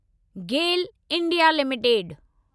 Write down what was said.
Gayle India limited